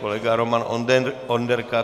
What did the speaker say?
Kolega Roman Onderka.